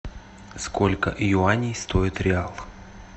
сколько юаней стоит реал